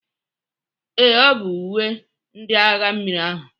Ee, ọ bụ uwe ndị agha mmiri ahụ